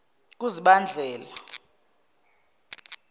kuzibandlela